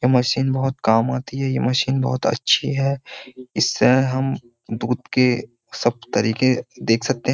ये मशीन बहुत काम आती है ये मशीन बहुत अच्छी है इससे हम दूध के सब तरीके देख सकते हैं।